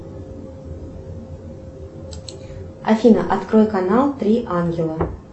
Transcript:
афина открой канал три ангела